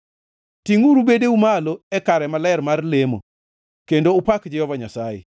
Tingʼuru bedeu malo e kare maler mar lemo kendo upak Jehova Nyasaye.